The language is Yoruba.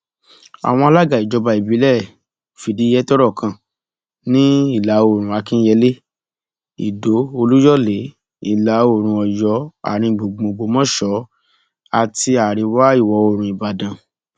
àwọn alága ìjọba ìbílẹ fìdíhe tọrọ kan ní ìlàoòrùn akínyẹlé ìdó olúyọlé ìlàoòrùn ọyọ àáríngbùngbùn ògbómọṣọ àti àríwáìwọoòrùn ìbàdàn